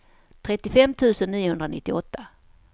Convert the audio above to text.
trettiofem tusen niohundranittioåtta